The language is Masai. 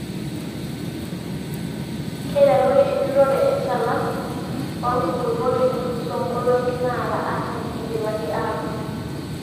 Keiteruni enjurrore enchalan oo nkulupuok tenelusoo nkolong'i naara artam eidipaki aatuun.